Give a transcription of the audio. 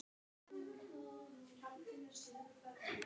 þessu getur fylgt hiti